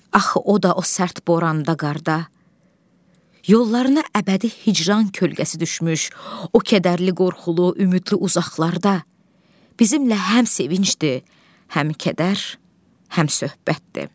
Axı o da o sərt boranda, qarda, yollarına əbədi hicran kölgəsi düşmüş, o kədərli qorxulu ümidli uzaqlarda bizimlə həm sevinçdir, həm kədər, həmsöhbətdir.